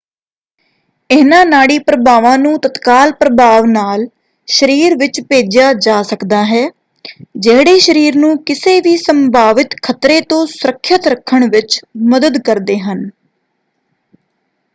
ਇਹਨਾਂ ਨਾੜੀ ਪ੍ਰਭਾਵਾਂ ਨੂੰ ਤਤਕਾਲ ਪ੍ਰਭਾਵ ਨਾਲ ਸ਼ਰੀਰ ਵਿੱਚ ਭੇਜਿਆ ਜਾ ਸਕਦਾ ਹੈ ਜਿਹੜੇ ਸ਼ਰੀਰ ਨੂੰ ਕਿਸੇ ਵੀ ਸੰਭਾਵਿਤ ਖਤਰੇ ਤੋਂ ਸੁਰੱਖਿਅਤ ਰੱਖਣ ਵਿੱਚ ਮਦਦ ਕਰਦੇ ਹਨ।